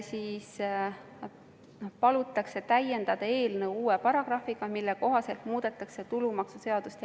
Seda palutakse täiendada uue paragrahviga, mille kohaselt muudetaks ka tulumaksuseadust.